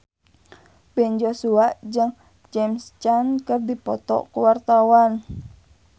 Ben Joshua jeung James Caan keur dipoto ku wartawan